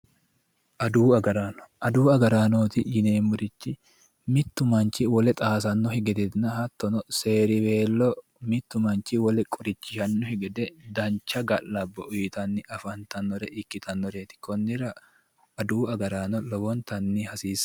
Aduwu agarrano, aduwu agarraanoti yineemmori mitu manchi wole xaasanokki gedenna hattono seeriwelo wole qorichishanokki gede dancha ga'labbo uyittanni afantanore ikkittanoreti konnira adawu agarrano lowontanni hasiisano.